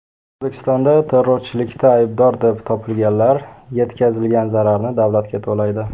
O‘zbekistonda terrorchilikda aybdor deb topilganlar yetkazilgan zararni davlatga to‘laydi.